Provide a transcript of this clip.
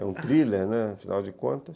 É um thriller, né, afinal de contas.